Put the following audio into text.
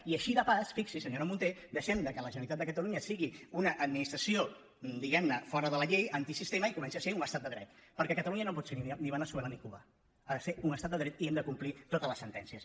i així de passada fixi·s’hi senyora mun·té deixem que la generalitat de catalunya sigui una administració diguem·ne fora de la llei antisistema i comenci a ser un estat de dret perquè catalunya no pot ser ni veneçuela ni cuba ha de ser un estat de dret i hem de complir totes les sentències